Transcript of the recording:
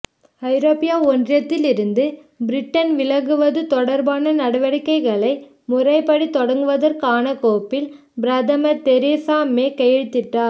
ஐரோப்பிய ஒன்றியத்தில் இருந்து பிரிட்டன் விலகுவது தொடர்பான நடவடிக்கைகளை முறைப்படி தொடங்குவதற்கான கோப்பில் பிரதமர் தெரீசா மே கையெழுத்திட்டார்